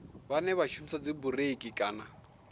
vhane vha shumisa dzibureiḽi kana